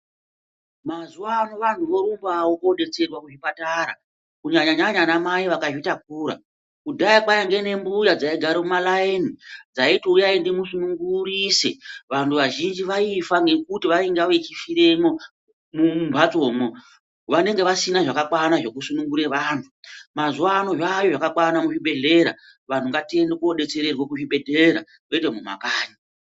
Mazuva ano vantu vorumbavo kobetserwa kuzvipatara kunyanya-nyanya vana mai vakazvitakura. Kudhaya kwainge nembuya dzaigara mumalaini dzaiti uyai ndimusunungurise vantu vazhinji vaifa ngekuti vainga vechifuremwo mumhatsomwo. Vanenge vasina zvakakwana zvekusunungure vantu mazuva ano zvayo zvakakwana muzvibhedhleya vantu ngatiende kobetsererwa muzvibhedhleya kwete mumakanyi.